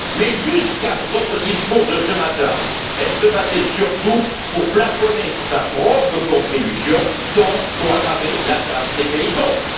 Mais jusqu'à votre discours de ce matin, elle se battait surtout pour plafonner sa propre contribution, donc pour aggraver la charge des pays pauvres.